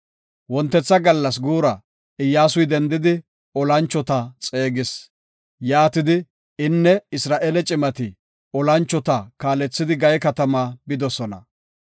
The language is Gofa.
Wontetha gallas guura Iyyasuy dendidi, olanchota xeegis. Yaatidi, inne Isra7eele cimati olanchota kaalethidi Gaye katamaa bidosona.